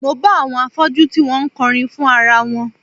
Mo bá àwọn afọ́jú tí wọ́n ń kọrin fún ara wọn